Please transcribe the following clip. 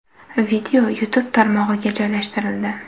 Video YouTube tarmog‘iga joylashtirildi.